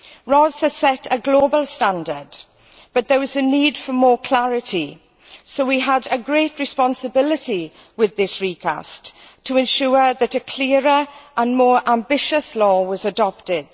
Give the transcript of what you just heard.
RoHS has set a global standard, but there was a need for more clarity, so we had a great responsibility with this recast to ensure that a clearer and more ambitious law was adopted.